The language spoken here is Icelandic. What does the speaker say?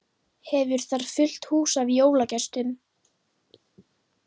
Hefur þar fullt hús af jólagestum.